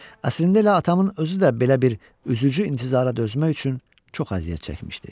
Əslində elə atamın özü də belə bir üzücü intizara dözmək üçün çox əziyyət çəkmişdi.